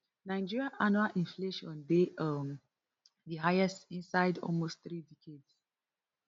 nigeria annual inflation dey um di highest inside almost three decades